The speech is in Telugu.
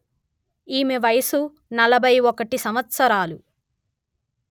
ఈమె వయస్సు నలభై ఒకటి సంవత్సరాలు